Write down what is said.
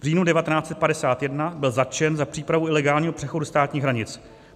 V říjnu 1951 byl zatčen za přípravu ilegálního přechodu státních hranic.